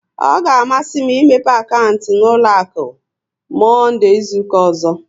Ọ ga amasị m imepe akaụntụ n'ụlọ akụ, Monde izuka ọzọ